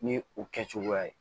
Ni o kɛcogoya ye